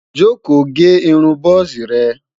joko gé irún buzi re